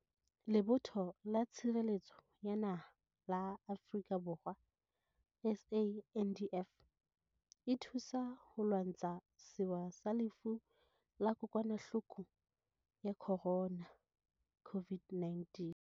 Lebotho la Tshireletso ya Naha la Afrika Borwa, SANDF, e thusa ho lwantsha sewa sa Lefu la Kokwa nahloko ya Corona, COVID-19.